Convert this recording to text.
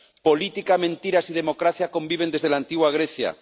Política, mentiras y democracia conviven desde la antigua Grecia.